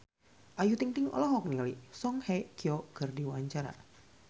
Ayu Ting-ting olohok ningali Song Hye Kyo keur diwawancara